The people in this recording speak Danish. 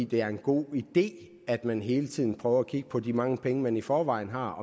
det er en god idé at man hele tiden prøver at kigge på om de mange penge man i forvejen har